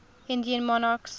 indian monarchs